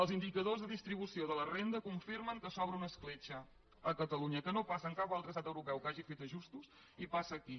els indicadors de distribució de la renda confirmen que s’obre una escletxa a catalunya que no passa en cap altre estat europeu que hagi fet ajustos i passa aquí